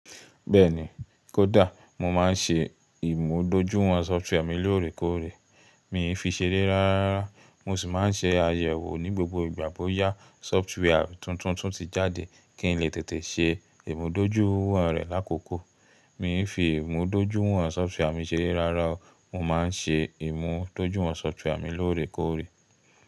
Bẹ́ẹ̀ni, kódà mo máa ń ṣe ìmúdójúìwọ̀n sọftíwà mi lóòrèkóòrè. Mìí fi ṣeré rárá, mo sì máa ń ṣe àyẹ̀wò ní gbogbo ìgbà bóyá sọftíwà tuntun tún ti jáde kí n lè tètè ṣe ìmúdójúìwọ̀n rẹ̀ lákòókò. Mí ì fi ìmúdójúìwọ̀n sọftíwà mi ṣeré rárá o, mo má ń ṣe ìmúdójúìwọ̀n sọftíwà mi lóòrèkóòrè.